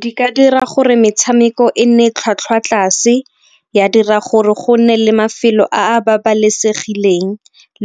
Di ka dira gore metshameko e nne tlhwatlhwa tlase, ya dira gore go nne le mafelo a a babalesegileng